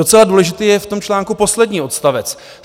Docela důležitý je v tom článku poslední odstavec.